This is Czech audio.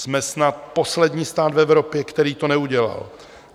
Jsme snad poslední stát v Evropě, který to neudělal.